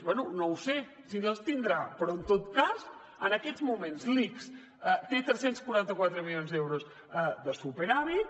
bé no ho sé si les tindrà però en tot cas en aquests moments l’ics té tres cents i quaranta quatre milions d’euros de superàvit